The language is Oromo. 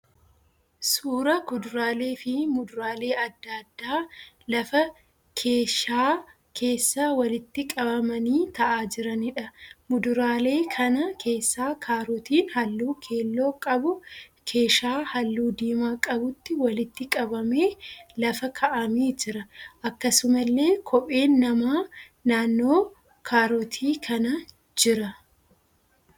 Suuraa kuduraalee fi muduraalee adda addaa lafa keeshaa keessa walitti qabamanii ta'aa jiraniidha. Muduraalee kana keessaa kaarotiin halluu keelloo qabu keeshaa halluu diimaa qabutti walitti qabamee lafa kaa'amee jira. Akkasumallee kopheen namaa naannoo kaarotii kanaa jira.